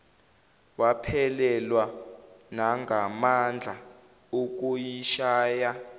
waphelelwa nangamandla okuyishaya